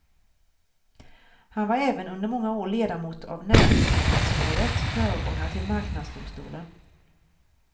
Han var även under många år ledamot av näringsfrihetsrådet, föregångare till marknadsdomstolen.